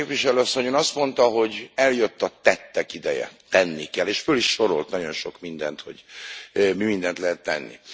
Tisztelt Képviselő asszony, Ön azt mondta, hogy eljött a tettek ideje, tenni kell, és föl is sorolt nagyon sok mindent, hogy mi mindent lehet tenni.